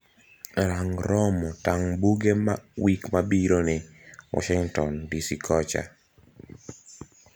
Rang romo tang' buge wik mabironi washington dc kocha